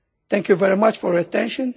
Thank you very much for your attention.